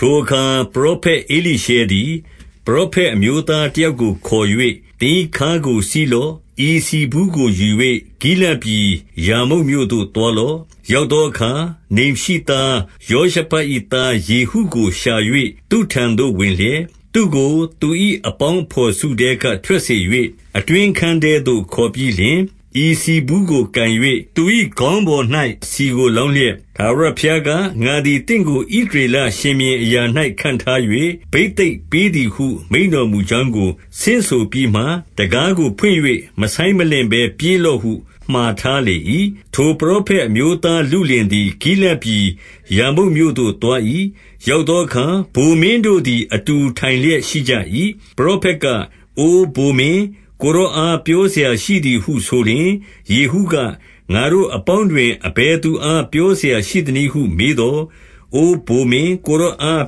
ထိုအခါပရောဖက် ဧလိရှဲသည် ပရောဖက် အမျိုးသားတယောက်ကို ခေါ်၍၊ သင်၏ခါးကို စည်း လော့။ ဤဆီဘူးကိုယူ၍ ဂိလဒ်ပြည် ရာမုတ်မြို့သို့ သွားလော့။ 2 ရောက်သောအခါ၊ နိမ်ရှိသားယောရှဖတ်၏သား ယေဟုကို ရှာ၍သူ့ထံသို့ ဝင်လျက်၊ သူ့ကိုသူ၏အပေါင်း အဘော်စုထဲက ထွက်စေ၍၊ အတွင်းအခန်းထဲသို့ ခေါ်ပြီး လျှင်၊ 3 ဤဆီဘူးကိုကိုင်၍ သူ၏ခေါင်းပေါ်၌ ဆီကို လောင်းလျက်၊ ထာဝရဘုရားက၊ ငါသည်သင့်ကို ဣသ ရေလရှင်ဘုရင်အရာ၌ ခန့်ထား၍ ဘိသိက်ပေးသည်ဟု မိန့်တော်မူကြောင်းကို ဆင့်ဆိုပြီးမှ၊ တံခါးကိုဖွင့်၍ မဆိုင်း မလင့်ဘဲ ပြေးလော့ဟု မှာထားလေ၏။ 4 ထိုပရောဖက်အမျိုးသားလုလင်သည် ဂိလဒ် ပြည် ရာမုတ်မြို့သို့ သွား၏။ 5 ရောက်သောအခါ၊ ဗိုလ်မင်းတို့သည်အတူ ထိုင်လျက် ရှိကြ၏။ ပရောဖက်က၊ အိုဗိုလ်မင်း၊ ကိုယ်တော်အား ပြောစရာရှိသည်ဟု ဆိုလျှင်၊ ယေဟုက၊ ငါတို့အပေါင်းတွင် အဘယ်သူအား ပြောစရာရှိသနည်းဟု မေးသော်၊ အိုဗိုလ်မင်း၊ ကိုယ်တော်အား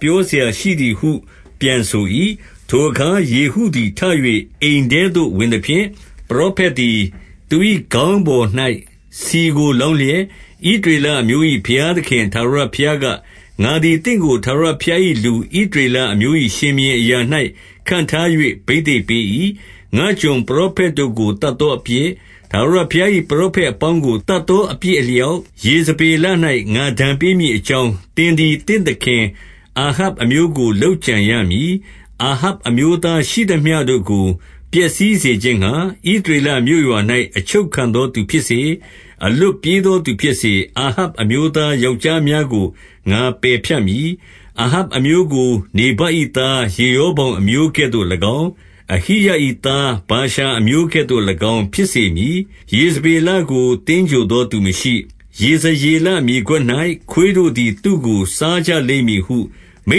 ပြောစရာရှိသည် ဟု ပြန်ဆို၏။ 6 ထိုအခါ ယေဟုသည် ထ၍အိမ်ထဲသို့ ဝင်သဖြင့်၊ ပရောဖက်သည် သူ၏ခေါင်းပေါ်၌ ဆီကိုလောင်းလျက်၊ ဣသရေလအမျိုး၏ ဘုရားသခင်ထာဝရဘုရားက၊ ငါသည် သင့်ကို ထာဝရဘုရား၏လူ ဣသရေလအမျိုး၏ ရှင်ဘုရင်အရာ၌ ခန့်ထား၍ ဘိသိက်ပေး၏။ 7 ငါ့ကျွန်ပရောဖက်တို့ကို သတ်သောအပြစ်၊ ထာဝရဘုရား၏ ပရောဖက်အပေါင်းကို သတ်သော အပြစ်အလျောက်၊ ယေဇဗေလ၌ ငါဒဏ်ပေးမည် အကြောင်း၊ သင်သည် သင့်သခင်အာဟပ်အမျိုးကို လုပ်ကြံရမည်။ 8 အာဟပ်အမျိုးသားရှိသမျှတို့ကို ပျက်စီးစေခြင်း ငှါ၊ ဣသရေလ မြို့ရွာ၌ အချုပ်ခံသောသူဖြစ်စေ၊ အလွတ်ပြေးသောသူဖြစ်စေ၊ အာဟပ်အမျိုးသား ယောက်ျားများကို ငါပယ်ဖြတ်မည်။ 9 အာဟပ်အမျိုးကို နေဗတ်၏သား ယေရောဗောင်အမျိုးကဲ့သို့၎င်း၊ အဟိယ၏သား ဗာရှာအမျိုးကဲ့သို့၎င်း ဖြစ်စေမည်။ 10 ယေဇဗေလကို သင်္ဂြိုလ်သောသူမရှိ။ ယေဇ ရေလမြေကွက်၌၊ ခွေးတို့သည်သူ့ကိုစားကြလိမ့်မည်ဟု မိ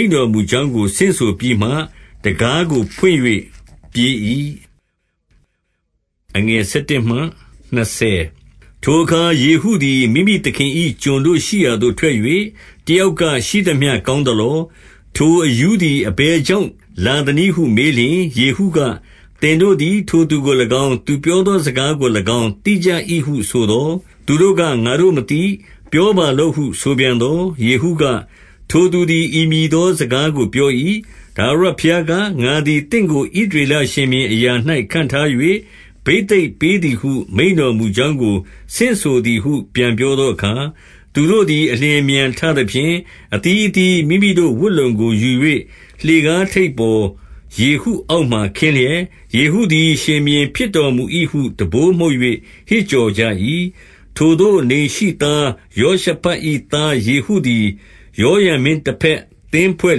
န့်တော်မူကြောင်းကို ဆင့်ဆိုပြီးမှ တံခါးကိုဖွင့်၍ ပြေး၏။ 11 ထိုအခါ ယေဟုသည် မိမိသခင်၏ ကျွန်တို့ရှိရာ သို့ ထွက်၍၊ တယောက်က၊ ရှိသမျှကောင်းသလော။ ထိုအရူးသည် အဘယ်ကြောင့် လာသနည်းဟု မေးလျှင်၊ ယေဟုက၊ သင်တို့သည် ထိုသူကို၎င်း၊ သူပြောသော စကားကို၎င်း သိကြ၏ဟုဆိုသော်၊ 12 သူတို့က ငါတို့မသိ။ ပြောပါလော့ဟု ဆိုပြန် သော်၊ ယေဟုက၊ ထိုသူသည်ဤမည်သော စကားကို ပြော၏။ ထာဝရဘုရားက၊ ငါသည်သင့်ကို ဣသရေလ ရှင်ဘုရင်အရာ၌ ခန့်ထား၍ ဘိသိက်ပေးသည်ဟု မိန့်တော်မူကြောင်းကိုဆင့်ဆိုသည်ဟု ပြန်ပြောသောအခါ၊ 13 သူတို့သည် အလျင်အမြန်ထသဖြင့်၊ အသီး အသီးမိမိတို့ ဝတ်လုံကိုယူ၍ လှေကားထိပ်ပေါ် ယေဟု အောက်မှာခင်းလျက်၊ ယေဟုသည် ရှင်ဘုရင်ဖြစ်တော်မူ ၏ဟု တံပိုးမှုတ်၍ ဟစ်ကြော်ကြ၏။ 14 ထိုသို့နိမ်ရှိသားယောရှဖတ်၏ သားယေဟုသည် ယောရံမင်း တဘက်သင်းဖွဲ့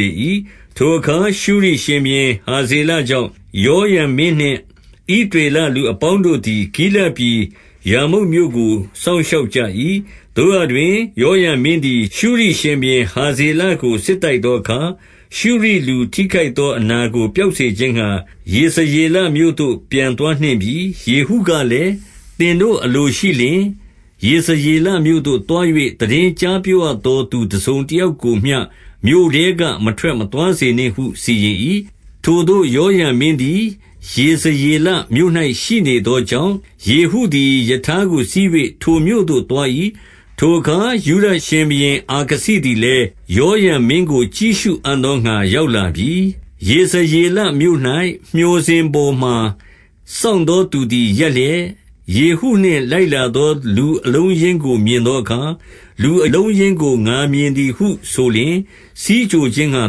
လေ၏။ ထိုအခါ ရှုရိရှင်ဘုရင် ဟာဇေလကြောင့်၊ ယောရံမင်းနှင့် ဣသရေလလူ အပေါင်းတို့သည် ဂိလဒ်ပြည်ရာမုတ်မြို့ကို စောင့်ရှောက် ကြ၏။ 15 သို့ရာတွင် ယောရံမင်းသည် ရှုရိရှင်ဘုရင် ဟာဇေလကို စစ်တိုက်သောအခါ၊ ရှုရိလူထိခိုက်သော အနာကို ပျောက်စေခြင်းငှါ ယေဇရေလမြို့သို့ ပြန်သွား နှင့်ပြီ။ ယေဟုကလည်း၊ သင်တို့အလိုရှိလျှင်၊ ယေဇရေလ မြို့သို့သွား၍ သိတင်းကြားပြောရသော သူတစုံ တယောက်ကိုမျှ မြို့ထဲက မထွက်မသွားစေနှင့်ဟုစီရင်၏။ 16 ထိုသို့ယောရံမင်းသည် ယေဇရေလမြို့၌ ရှိနေ သောကြောင့်၊ ယေဟုသည် ရထားကိုစီး၍ ထိုမြို့သို့ သွား၏။ ထိုအခါ ယုဒရှင်ဘုရင်အာ ခဇိသည်လည်း၊ ယောရံမင်းကို ကြည့်ရှုအံ့သောငှါ ရောက်လာပြီ။ 17 ယေဇရေလမြို့၌ မျှော်စင်ပေါ်မှာ စောင့်သော သူသည်ရပ်လျက်၊ ယေဟုနှင့် လိုက်လာသော အလုံး အရင်းကို မြင်သောအခါ၊ လူအလုံးအရင်းကို ငါမြင် သည်ဟု ဆိုလျှင်၊ ဆီးကြိုခြင်းငှါ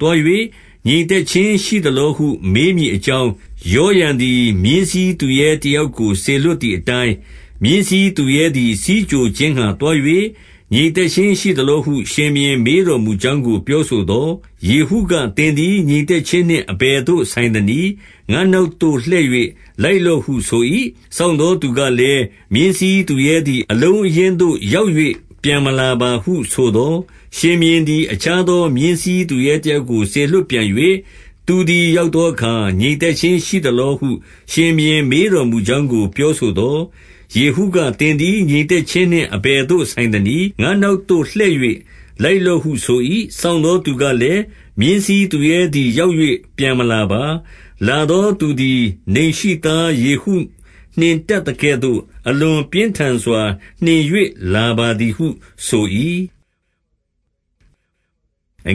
သွား၍ ငြိမ်သက်ခြင်း ရှိသလောဟု မေးမည်အကြောင်း၊ ယောရံသည် မြင်းစီး သူရဲတယောက်ကို စေလွှတ်သည်အတိုင်း၊ 18 မြင်းစီးသူရဲသည် ဆီးကြိုခြင်းငှါသွား၍၊ ငြိမ် သက်ခြင်းရှိသလောဟု ရှင်ဘုရင်မေးတော်မူကြောင်းကို ပြောဆိုသော်၊ ယေဟုက၊ သင်သည် ငြိမ်သက်ခြင်းနှင့် အဘယ်သို့ ဆိုင်သနည်း။ ငါ့နောက်သို့လှည့်၍ လိုက်လော့ ဟုဆို၏။ စောင့်သောသူကလည်း၊ မြင်းစီးသူရဲသည် အလုံးအရင်းသို့ ရောက်၍ ပြန်မလာပါဟုဆိုသော်၊ 19 ရှင်ဘုရင်သည် အခြားသော မြင်းစီးသူရဲ တယောက်ကို စေလွှတ်ပြန်၍၊ သူသည်ရောက်သောအခါ၊ ငြိမ်သက်ခြင်းရှိသလောဟု ရှင်ဘုရင် မေးတော်မူကြောင်း ကို ပြောဆိုသော်၊ ယေဟုက၊ သင်သည် ငြိမ်သက်ခြင်း နှင့် အဘယ်သို့ဆိုင်သနည်း။ ငါ့နောက်သို့လှည့်၍ လိုက် လော့ဟု ဆို၏။ 20 စောင့်သောသူကလည်း၊ မြင်းစီးသူရဲသည် ရောက်၍ ပြန်မလာပါ။ လာသောသူသည် နိမ်ရှိသား ယေဟုနှင့် တတ်သကဲ့သို့ အလွန်ပြင်းထန်စွာနှင်၍ လာပါ သည်ဟုဆို၏။ 21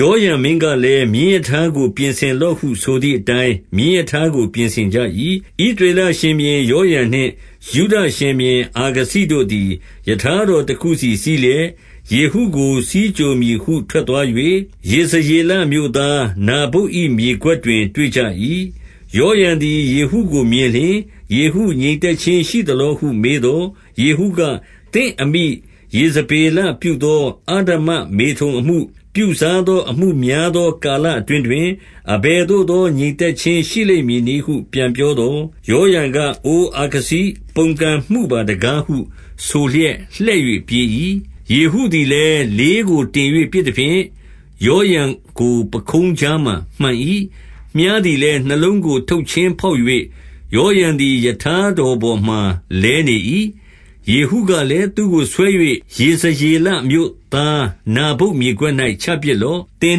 ယောရံမင်းကလည်း၊ မြင်းရထားကို ပြင်ဆင် လော့ဟုဆိုသည်အတိုင်း၊ မြင်းရထားကို ပြင်ဆင်ကြ၏။ ဣသရေလရှင်ဘုရင်ယောရံနှင့် ယုဒရှင်ဘုရင် အာခဇိတို့ သည် ရထားတော်တခုစီစီးလျက်ယေဟုကို ဆီးကြို မည်ဟု ထွက်သွား၍၊ ယေဇရေလမြို့သား နာဗုတ်၏ မြေကွက်တွင် တွေ့ကြ၏။ 22 ယောရံသည် ယေဟုကိုမြင်လျှင်၊ ယေဟု ငြိမ်သက်ခြင်းရှိသလောဟု မေးသော်၊ ယေဟုက။ သင့်အမိယေဇ ဗေလပြုသော အဓမ္မမေထုန်အမှု၊ ပြုစားသော အမှုများ သော ကာလအတွင်းတွင်၊ အဘယ်သို့သော ငြိမ်သက် ခြင်းရှိလိမ့်မည်နည်းဟု ပြန်ပြောသော်၊ 23 ယောရံက၊ အိုအာခဇိ၊ ပုန်ကန်မှုပါတကားဟု ဆိုလျက် လှည့်၍ ပြေး၏။ 24 ယေဟုသည်လည်း လေးကိုတင်၍ ပစ်သဖြင့်၊ ယောရံကို ပခုံးကြားမှာမှန်၏။ မြှားသည်လည်း နှလုံးကို ထုတ်ချင်းဖောက်၍၊ ယောရံသည် ရထားတော်ပေါ်မှာ လဲနေ၏။ 25 ယေဟုကလည်း၊ သူ့ကိုဆွဲ၍ ယေဇရေလမြို့ သားနာဗုတ်မြေကွက်၌ ချပစ်လော့။ သင်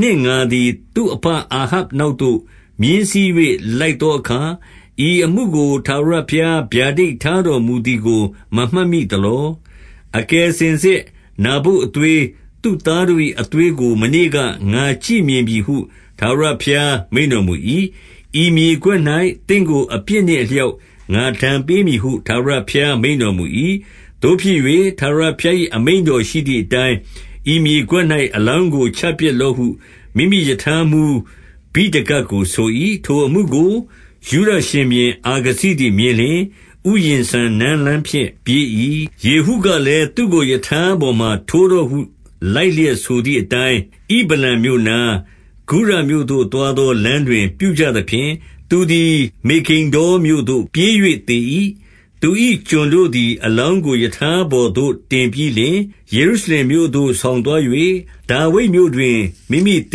နှင့်ငါသည် သူ့အဘအာဟပ်နောက်သို့ မြင်းစီး၍ လိုက်သောအခါ၊ ဤအမှုကို ထာဝရဘုရား ဗျာဒိတ်ထားတော်မူသည်ကို မမှတ်မိသလော။ 26 အကယ်စင်စစ်နာဗုတ်အသွေး၊ သူ့သားတို့၏ အသွေးကို မနေ့က ငါကြည့်မြင်ပြီဟု ထာဝရဘုရား မိန့်တော်မူ၏။ ဤမြေကွက်၌ သင့်ကို အပြစ်နှင့် အလျောက် ငါဒဏ်ပေးမည်ဟု ထာဝရဘုရားမိန့်တော် မူ၏။ သို့ဖြစ်၍ ထာဝရဘုရား၏ အမိန့်တော်ရှိသည် အတိုင်း၊ ဤမြေကွက်၌ အလောင်းကိုချပစ်လော့ဟု မိမိရထားမှုဗိဒကကို ဆို၏။ 27 ထိုအမှုကို ယုဒရှင်ဘုရင် အာခဇိသည်မြင်လျှင်၊ ဥယျာဉ်စံနန်းလမ်းဖြင့် ပြေး၏။ ယေဟုကလည်း၊ သူ့ကို ရထားပေါ်မှာ ထိုးတော့ဟု လိုက်လျက်ဆိုသည်အတိုင်း၊ ဣဗလံမြို့နား၊ ဂုရမြို့သို့သွားလောလမ်းတွင် ပြုကြသဖြင့်၊ သူသည်မေဂိဒ္ဒေါမြို့သို့ပြေး၍ သေ၏။ 28 သူ၏ကျွန်တို့သည် အလောင်းကို ရထားပေါ်သို့ တင်ပြီးလျှင်၊ ယေရုရှလင်မြို့သို့ ဆောင်သွား၍၊ ဒါဝိဒ်မြို့ တွင် မိမိသ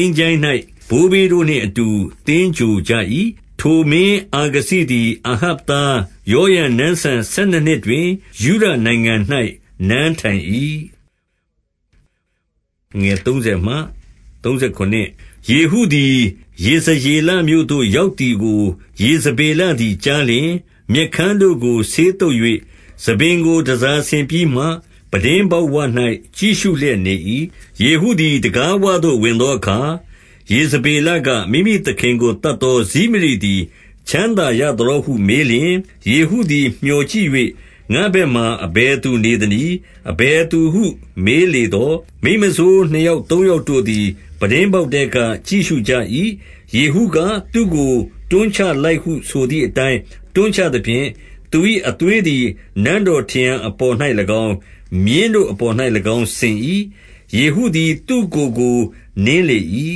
င်္ချိုင်း၌ ဘိုးဘေးတို့နှင့်အတူ သင်္ဂြိုဟ်ကြ၏။ 29 ထိုမင်းအာခဇိသည် အာဟပ်သား ယောရံနန်းစံ ဆယ်နှစ်နှစ်တွင် ယုဒနိုင်ငံ၌ နန်းထိုင်၏။ 30 ယေဟုသည် ယေဇရေလမြို့သို့ရောက်သည်ကို ယေဇဗေလသည် ကြားလျှင်၊ မျက်ခမ်းတို့ကို ဆေးသုတ်၍ ဆံပင်ကိုတန်ဆာဆင်ပြီးမှ၊ ပြတင်းပေါက်ဝ၌ ကြည့်ရှု လျက် နေ၏။ 31 ယေဟုသည် တံခါးဝသို့ဝင်သောအခါ ယေဇ ဗေလက၊ မိမိသခင် ကိုသတ်သောဇိမရိသည် ချမ်းသာ ရသလောဟု မေးလျှင်၊ 32 ယေဟုသည် မျှော်ကြည့်၍၊ ငါ့ဘက်မှာ အဘယ် သူနေသနည်း။ အဘယ်သူဟုမေးလေသော်၊ မိန်းမစိုး နှစ်ယောက်သုံးယောက်တို့သည် ပြတင်းပေါက်ထဲက ကြည့်ရှုကြ၏။ 33 ယေဟုက၊ သူ့ကို တွန်းချလိုက်ဟုဆိုသည် အတိုင်း တွန်ချသဖြင့်၊ သူ၏အသွေးသည် နန်းတော်ထရံ အပေါ်၌၎င်း၊ မြင်းတို့အပေါ်၌၎င်း စဉ်၏။ ယေဟုသည် သူ့ကိုယ်ကို နင်းလေ၏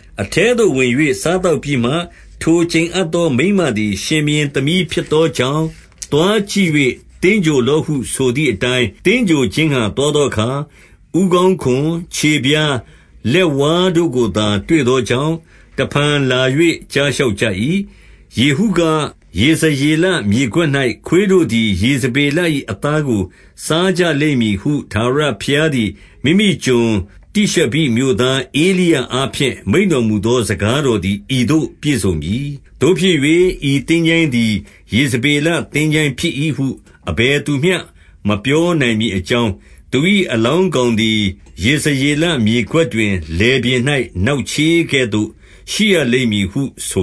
။ အထဲသို့ဝင်၍၊ 34 စားသောက်ပြီးမှ၊ ထိုကျိန်အပ်သော မိန်းမသည် ရှင်ဘုရင် သမီးဖြစ်သောကြောင့်၊ သွားကြည့်၍သင်္ဂြိုဟ် လော့ဟု ဆိုသည်အတိုင်း၊ 35 သင်္ဂြိုဟ်ခြင်းငှါသွားသောအခါ၊ ဦးခေါင်းခွံ၊ ခြေဖျား၊ လက်ဝါးတို့ကိုသာ တွေ့သောကြောင့်၊ တဖန် လာ၍ ကြားလျှောက်ကြ၏။ 36 ယေဟုက၊ ယေဇရေလေမြေကွက်၌ ခွေးတို့သည် ယေဇဗေလ၏အသားကို စားကြလိမ့်မည်ဟု ထာဝရ ဘုရားသည် မိမိကျွန်တိရှဘိမြို့သားဧလိယအားဖြင့် မိန့်တော်မူသော စကားတော်သည် ဤသို့ ပြည့်စုံပြီ။ 37 သို့ဖြစ်၍ ဤသင်္ချိုင်းသည် ယေဇဗေလသင်္ချိုင်း ဖြစ်၏ဟု အဘယ်သူမျှ မပြောနိုင်မည်အကြောင်း၊ သူ၏ အလောင်းကောင်သည် ယေဇရေလမြေကွက်တွင်၊ လယ်ပြင်၌ နောက်ချေးကဲ့သို့ရှိရလိမ့်မည်ဟု ဆို